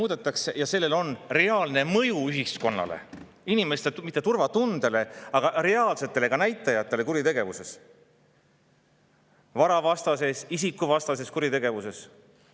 … on reaalne mõju ühiskonnale, mitte inimeste turvatundele, aga ka reaalsetele näitajatele kuritegevuses, varavastases ja isikuvastases kuritegevuses.